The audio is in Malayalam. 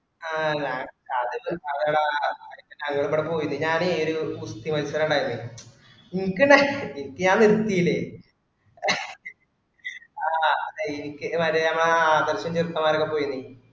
ആ ഞാ പോയീന് ഞാനേ ഒര് ഗുസ്തി മത്സരം ഇണ്ടായർന്നേ ഇന്കനെ ഇൻക്ക് ഞാൻ നിർത്തിയീലെ ആ മറ്റേ മ്മെ ആ സംശയ തീർത്തമാർ പോയീന്